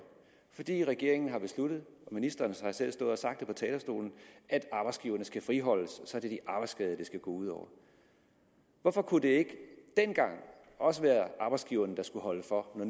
fordi regeringen har besluttet og ministeren har selv stået og sagt det fra talerstolen at arbejdsgiverne skal friholdes og så er det de arbejdsskadede det skal gå ud over hvorfor kunne det ikke dengang også være arbejdsgiverne der skulle holde for når